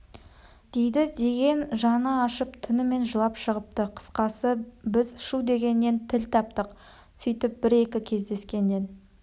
дейді деген жаны ашып түнімен жылап шығыпты қысқасы біз шу дегеннен тіл таптық сөйтіп бір-екі кездескеннен